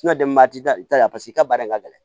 paseke i ka baara ka gɛlɛn